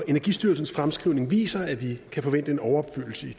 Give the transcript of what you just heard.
energistyrelsens fremskrivning viser at vi kan forvente en overopfyldelse i